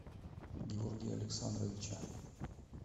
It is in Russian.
георгия александровича